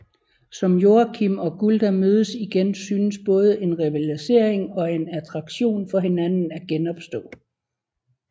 Som Joakim og Gulda mødes igen synes både en rivalisering og en attraktion for hinanden at genopstå